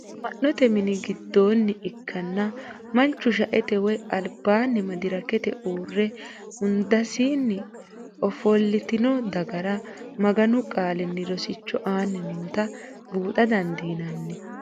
Ama'note mini gidooni ikkanna, manchu shaete woyi alibanni medirekete uure hundasinni ofdolitinno dagara maganu qaalini rosicho aani nootta buuxxa dandinnanni